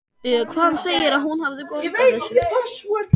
Hann segir að hún hafi gott af þessu.